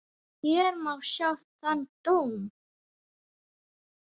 Hér má sjá þann dóm.